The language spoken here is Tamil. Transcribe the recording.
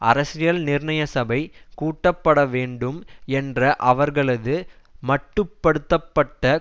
அரசியல் நிர்ணய சபை கூட்டப்பட வேண்டும் என்ற அவர்களது மட்டு படுத்த பட்ட